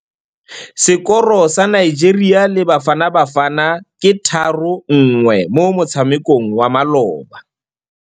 Sekôrô sa Nigeria le Bafanabafana ke 3-1 mo motshamekong wa malôba.